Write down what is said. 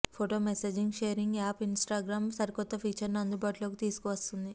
photo messaging sharing app Instagram సరికొత్త feature ని అందుబాటులోకి తీసుకువస్తోంది